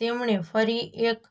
તેમણે ફરી એક